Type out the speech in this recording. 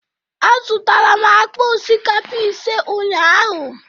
Azụtara m akpa osikapa ise ụnyaahụ.